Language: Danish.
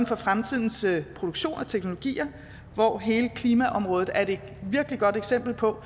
for fremtidens produktion og teknologier hvor hele klimaområdet er et virkelig godt eksempel på